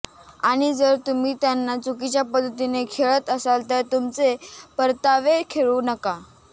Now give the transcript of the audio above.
आणि जर तुम्ही त्यांना चुकीच्या पद्धतीने खेळत असाल तर तुमचे परतावे खेळू नका